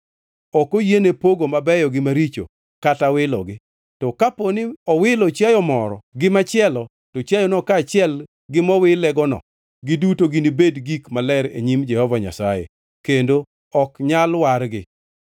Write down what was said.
Ok oyiene pogo mabeyo gi maricho kata wilogi. To kaponi owilo chiayo moro gi machielo, to chiayono kaachiel gi mowilegono, giduto ginibed gik maler e nyim Jehova Nyasaye kendo ok nyal wargi.’ ”